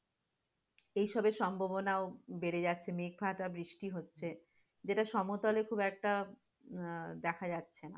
এসবের সম্ভাবনা ও বেড়ে যাচ্ছে, নির্ঘাত আর বৃষ্টি হচ্ছে যেটা সমতলে খুব একটা আহ দেখা যাচ্ছে না,